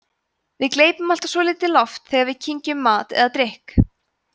við gleypum alltaf svolítið loft þegar við kyngjum mat eða drykk